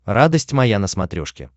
радость моя на смотрешке